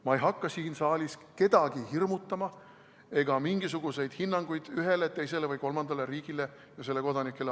Ma ei hakka siin saalis kedagi hirmutama ega andma mingisuguseid hinnanguid ühele, teisele või kolmandale riigile ja selle kodanikele.